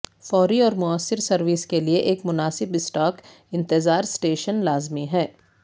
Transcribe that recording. فوری اور موثر سروس کے لئے ایک مناسب اسٹاک انتظار سٹیشن لازمی ہے